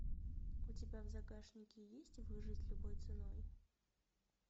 у тебя в загашнике есть выжить любой ценой